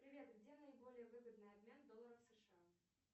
привет где наиболее выгодный обмен долларов сша